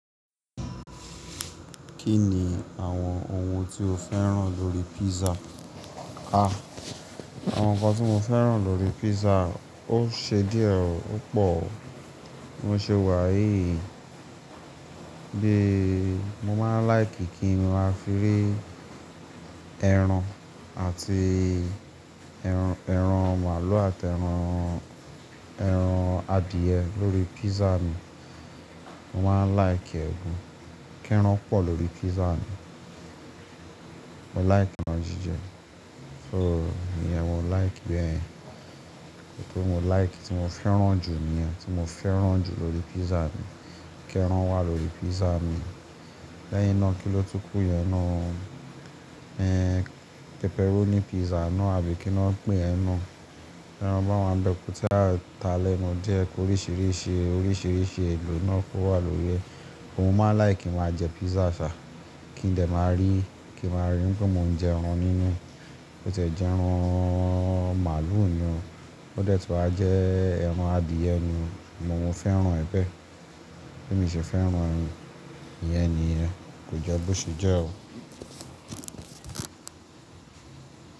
Kí ni àwọn ohun tí o féràn lórí pizza? Ah! Àwọn nǹkan tí mo féràn lórí pizza, ó ṣe díẹ̀, ó pò o. Bi mo ṣe wà í, bí i mo máa ń like kí n máa fi rí ẹran àti ẹran, ẹran màlúù àti ẹran, ẹran adìẹ lórí pizza mi. Mo máa ń like e gan, kí ẹran pọ̀ lórí pizza mi. Mo like eran jijẹ, so iyen ni mo like bẹ́ẹ̀. Gẹ́gẹ́ bí mo like, tí mo féràn jù ni, tí mo féràn jù lórí pizza ni kí ẹran wà lórí pizza mi. Lẹ́yìn náà, kí ló tún kù yẹn náa o. Ẹ̀n, pepperoni pizza ná àbí kí ni wọ́n ń pè iyen naa. Teran báwa nibe ko saa ta lẹ́nu die, ki oríṣìíríṣìí, oríṣìíríṣìí èlò náà kó wà lórí rẹ̀. Mo máa n like kí n máa jẹ pizza ṣà. Kí n dẹ̀ máa rí, kí n máa rí pé mo ń jẹ ẹran nínú. Bo ti e jẹ ẹran màlúù ni o. Ó dẹ̀ tí wà jẹ́ ẹran adìẹ ni. Mo ò fẹ́ràn ẹbẹ̀. Be mi se fẹ́ràn ni, Iyẹn nìyẹn. Kò jẹ́ bó ṣe jẹ́ o.